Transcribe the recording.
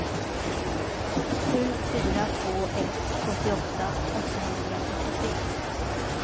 sju fyra två ett sjuttioåtta åttahundrafyrtiotre